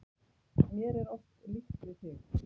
Mér er oft líkt við þig.